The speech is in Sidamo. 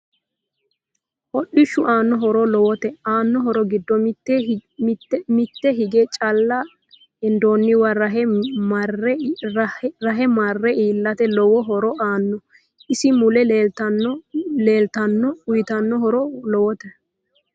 Hodhishu aano horo lowote aano horo giddo mitte higge calla hendooniwa rahe marre iilate lowo horo aanno isi mule leeltanno uyiitanno horo lowote